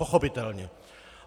Pochopitelně.